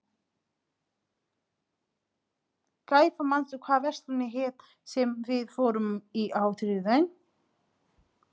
Gæfa, manstu hvað verslunin hét sem við fórum í á þriðjudaginn?